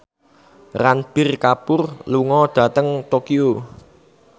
Ranbir Kapoor lunga dhateng Tokyo